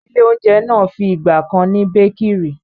ilé-oúnjẹ náà fi ìgbà kan ni békìrì.